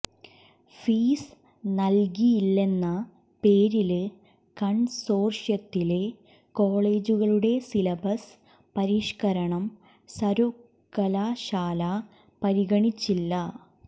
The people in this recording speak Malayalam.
ഫീസ് നല്കിയില്ലെന്ന പേരില് കണ്സോര്ഷ്യത്തിലെ കോളേജുകളുടെ സിലബസ് പരിഷ്കരണം സര്വകലാശാല പരിഗണിച്ചില്ല